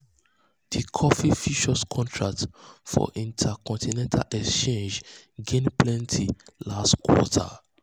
di coffee futures contract for intercontinental exchange exchange gain plenty last quarter.